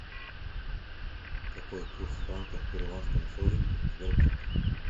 какой курс франка к перуанскому солю в сбербанке